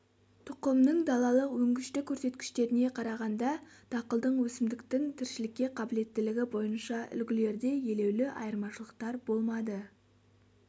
тұқымның далалық өнгіштік көрсеткіштеріне қарағанда дақылдың өсімдіктің тіршілікке қабілеттілігі бойынша үлгілерде елеулі айырмашылықтар болмады